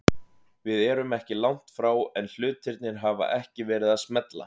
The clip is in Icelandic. Við erum ekki langt frá en hlutirnir hafa ekki verið að smella.